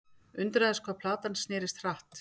Undraðist hvað platan snerist hratt.